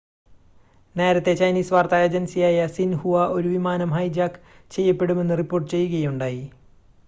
നേരത്തെ ചൈനീസ് വാർത്താ ഏജൻസിയായ സിൻഹുവ ഒരു വിമാനം ഹൈജാക്ക് ചെയ്യപ്പെടുമെന്ന് റിപ്പോർട്ട് ചെയ്യുകയുണ്ടായി